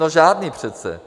No žádný přece.